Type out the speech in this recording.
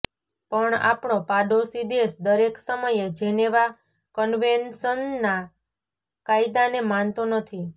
પણ આપણો પાડોશી દેશ દરેક સમયે જેનેવા કન્વેન્શનના કાયદાને માનતો નથી